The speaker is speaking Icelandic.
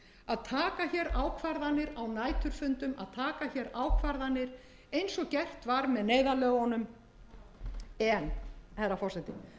að taka hér ákvarðanir á næturfundum að taka hér ákvarðanir eins og gert var með neyðarlögunum en herra forseti